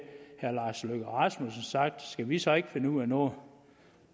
herre lars løkke rasmussen sagt skal vi så ikke finde ud af noget